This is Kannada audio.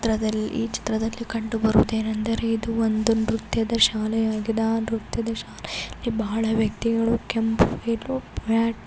ಚಿತ್ರದಲ್ಲಿ ಈ ಚಿತ್ರದಲ್ಲಿ ಕಂಡುಬರುವುದೇನೆಂದರೆ ಇದು ಒಂದು ನೃತ್ಯದ ಶಾಲೆಯಾಗಿದೆ ಆ ನೃತ್ಯದ ಶಾಲೆಯಲ್ಲಿ ಬಹಳ ವ್ಯಕ್ತಿಗಳು ಕೆಂಪ